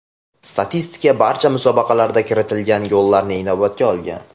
Statistika barcha musobaqalarda kiritilgan gollarni inobatga olgan.